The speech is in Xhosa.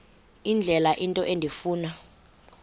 indlela into endifuna